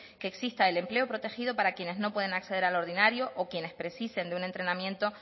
que exista el empleo protegido para quienes no puedan acceder al ordinario o quienes precisen de un entrenamiento